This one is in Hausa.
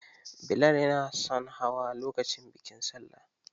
Billal yanason hawa lokacin bikin Salla.